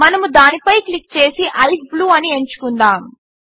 మనముదానిపై click చేసి ICE blue అని ఎంచుకుందాము